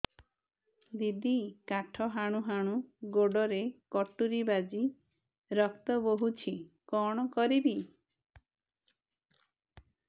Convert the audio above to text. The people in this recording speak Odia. ଦିଦି କାଠ ହାଣୁ ହାଣୁ ଗୋଡରେ କଟୁରୀ ବାଜି ରକ୍ତ ବୋହୁଛି କଣ କରିବି